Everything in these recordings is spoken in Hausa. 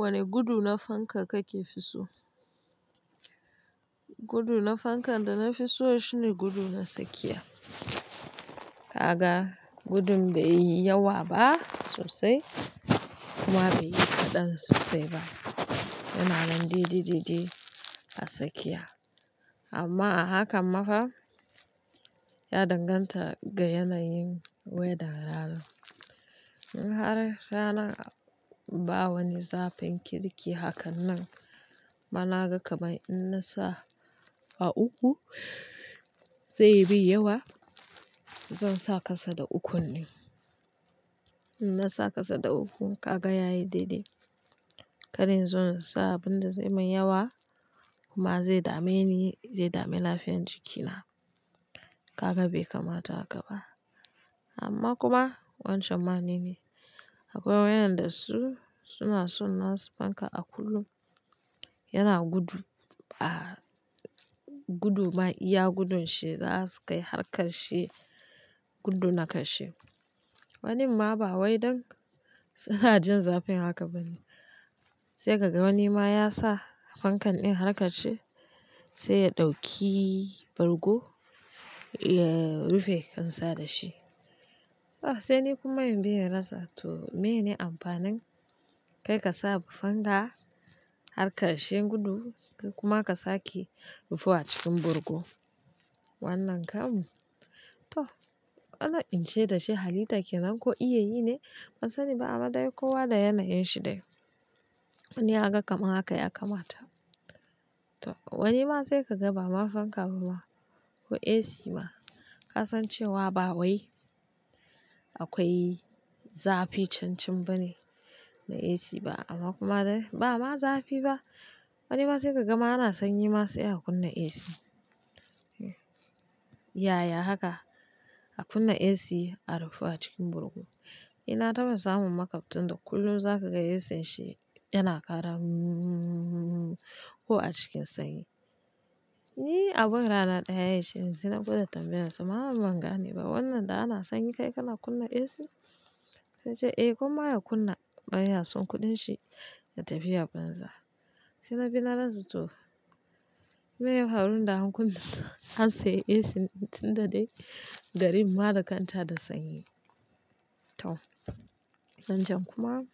Wane gudu na fanka kake fiso? Gudu na fankan da na fi so shine gudu na tsakiya. Kaga gudu bai yi yawa ba sosai kuma bai yi kaɗan sosai ba. Yana nan dede dede a tsakiya. Amma a haka ma fa ya danganta ga yanayin wedan ranan. In har rana ba wani zafin kirki haka nan, mana ga kamar in na sa a uku zai yimin yawa. Zan sa kasa da ukun ne. In na sa kasa da uku, ka ga ya yi daidai. Kar inzo in sa abin da zai min yawa kuma zai dame ni, zai dame lafiyar jikina. Kaga bai kamata haka ba. Amma kuma wancan ma ne ne. Akwai wayanda su suna so na su fanka a kullum yana gudu. A guduman iya gudun shi za su kai har ƙarshe gudu na ƙarshe. Wanin ma ba wai dan suna jin zafin haka bane sai ka ga wani ma ya sa fankan din har ƙarshe sai ya ɗauki bargo ya rufe kan sa da shi. A sai ni kuma in bi in rasa to mene amfanin kai ka sa fanka har ƙarshen gudu kuma ka sake rufe a cikin bargo. Wannan kam to ana in ce dashi halitta kenan ko iya yi ne? Ban sani ba amma dai kowa da yanayin shi dai. Wani ya ga kamar haka ya kamata. To wani ma sai ka ga ba ma fanka ba ma ko AC ma ka san cewa ba wai akwai zafi cancan bane na AC ba amma kuma dai ba ma zafi ba. Wani ma sai ka ga ma ana sanyi ma sai a kunna AC. Yaya haka a kunna AC a rufe a cikin bargo? Inna taɓa samun makwabta da kullum za ka ga AC shi yana ƙara "mmm" ko a cikin sanyi. Ni a ban rana ɗaya shine, sai na gwada tambaye sa mallam ban gane ba wannan da ana sanyi kai kana kunna AC? Sai ya ce "Eh gwamma ya kunna baya son kuɗin shi ya tafi ya banza". Sai na bi na rasa to meye ya faru da an kunna an sa AC tunda dai garin ma da kanta da sanyi. To wancan kuma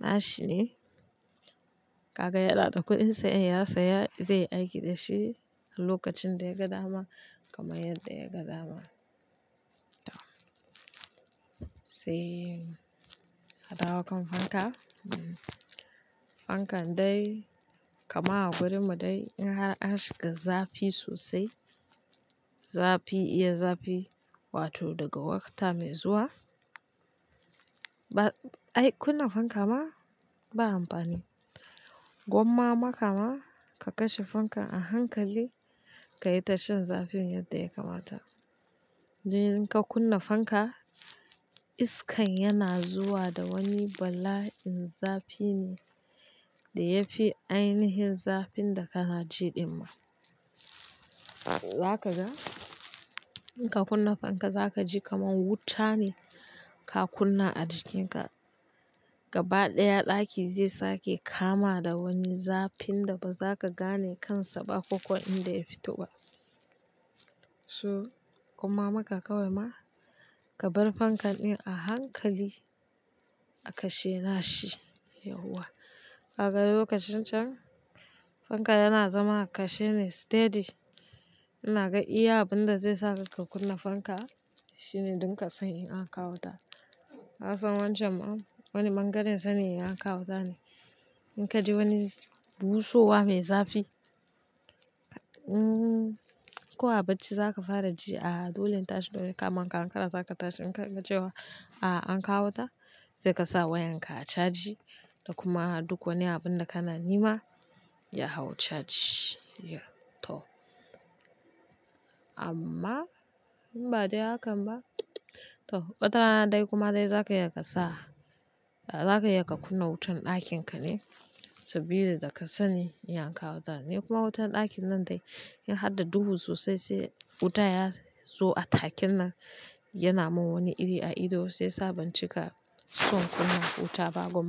na shi ne. Kaga ya naɗa kuɗin sa in ya saya zai aiki da shi a lokacin da ya ga dama kamar yadda ya ga dama. To sai a dawo kan fanka. Fankan dai kamar a gurin mu dai in har a shiga zafi sosai, zafi iya zafi wato daga wakta mai zuwa ba ai kunna fanka ma ba amfani. Gwamma maka ma ka kashe fankan a hankali ka yi ta shan zafin yadda ya kamata. Sai idan ka kunna fanka iskan yana zuwa da wani bala'in zafi ne da ya fi ainihin zafin da kana jiɗima. Za ka ga in ka kunna fanka za ka ji kaman wuta ne ka kunna a jikinka gaba ɗaya ɗaki zai sake kama da wani zafin da ba za ka gane kansa ba ko-ko inda ya fito ba. So gwamma maka kawai ma ka bar fankan din a hankali a kashe na shi yauwa. Kaga lokacin can fanka yana zama kashe ne steady. Ina ga iya abin da zai sa ka kunna fanka shine duk ka san in an kawo wuta. Na san wancan ma wani bangaren sani'yar an kawo ta ne. In ka ji wani busowa mai zafi, mm kuwa bacci za ka fara ji a dolin tashi dole kama kara-kara za ka tashi. In ka ji cewa a an kawo ta sai ka sa wayan ka a caji da kuma a duko ni abin da kana nema ya hau caji. To amma in ba dai hakan ba to watarana dai kuma dai za ka iya ka sa za ka iya ka kunna wutar ɗakin ka ne saboda da ka sani iya an kawo ta ne kuma wutar ɗakin nan dai in har da duhu sosai sai wuta ya zo a takin nan yana mun wani iri a ido sai sabon cika son kuma wuta ba gwamma.